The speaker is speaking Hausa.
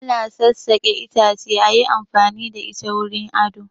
Ana tsassaƙe itace ayi amfani da ita wurin ado